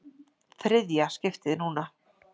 ÞRIÐJA skiptið núna!